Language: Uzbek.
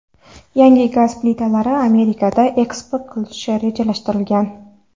Yangi gaz plitalari Amerikaga eksport qilinishi rejalashtirilgan.